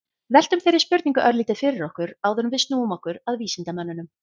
veltum þeirri spurningu örlítið fyrir okkur áður en við snúum okkur að vísindamönnunum